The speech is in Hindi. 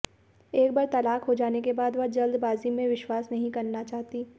एक बार तलाक हो जाने के बाद वह जल्दबाजी में विश्वास नहीं करना चाहती